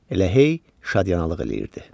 Elə hey şadyanalıq eləyirdi.